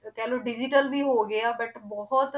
ਕਹਿ ਲਓ digital ਵੀ ਹੋ ਗਿਆ but ਬਹੁਤ